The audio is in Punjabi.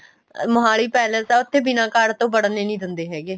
ਮੋਹਾਲੀ ਪੈਲਸਆ ਉੱਥੇ ਬਿਨਾਂ ਕਾਰਡ ਤੋਂ ਵੜਣ ਹੀ ਨਹੀਂ ਦਿੰਦੇ ਹੈਗੇ